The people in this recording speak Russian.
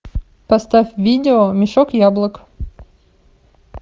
поставь видео мешок яблок